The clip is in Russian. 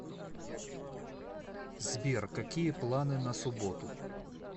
сбер какие планы на субботу